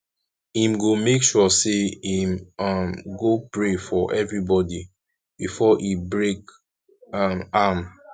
him go make sure say him um go pray for evribodi befor e break um am